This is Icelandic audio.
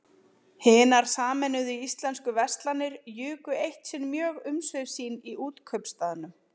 Hinar sameinuðu íslensku verslanir juku eitt sinn mjög umsvif sín í Útkaupstaðnum.